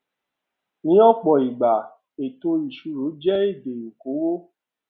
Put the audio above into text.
ní òpò ìgbà ètò ìṣíró jẹ èdè okòwò